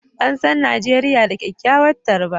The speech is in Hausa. An san Najeriya da kyakkyawar tarba